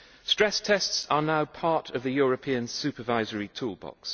Stress tests are now part of the European supervisory toolbox.